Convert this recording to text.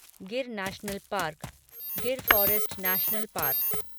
Gir national park Gir forest national park